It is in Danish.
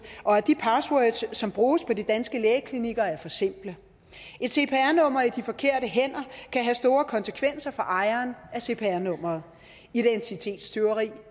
og at de passwords som bruges på de danske lægeklinikker er for simple et cpr nummer i de forkerte hænder kan have store konsekvenser for ejeren af cpr nummeret identitetstyveri